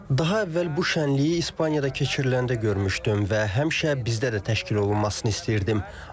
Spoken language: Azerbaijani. Daha əvvəl bu şənliyi İspaniyada keçiriləndə görmüşdüm və həmişə bizdə də təşkil olunmasını istəyirdim.